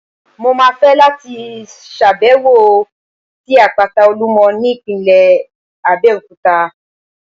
Mo máa fẹ́ láti ṣàbẹ̀wò sí Àpáta Olúmọ ní ìpínlẹ̀ Abẹ́òkúta.